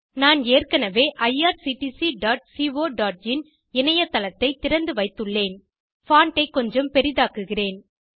நான் ஏற்கெனவே irctccoஇன் இணையத் தளத்தை திறந்து வைத்துள்ளேன் பான்ட் ஐ கொஞ்சம் பெரிதாக்குகிறேன்